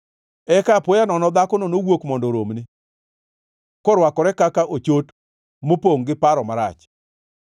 Eka apoya nono dhakono nowuok mondo oromne, korwakore kaka ochot mopongʼ gi paro marach.